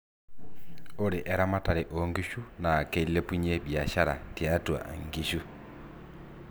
ore eramatare oo nkishu naa keilepunyie biashara tiatua inkishu